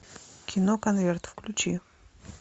кино конверт включи